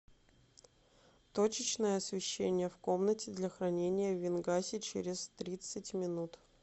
точечное освещение в комнате для хранения вин гаси через тридцать минут